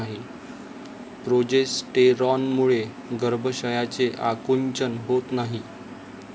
प्रोजेस्टेरॉनमुळे गर्भाशयाचे आकुंचन होत नाही.